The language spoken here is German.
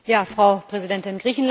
Frau Präsidentin!